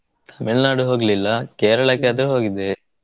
Tamil Nadu ಹೋಗ್ಲಿಲ್ಲಾ Kerala ಕ್ಕೆ ಆದ್ರೆ ಹೋಗಿದ್ದೆ.